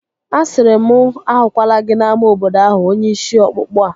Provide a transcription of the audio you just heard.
Asịrị m mụ ahụkwala gị n'ámá obodo ahụ onye ishi ọkpụkpụ a!